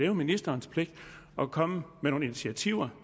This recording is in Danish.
jo ministerens pligt at komme med nogle initiativer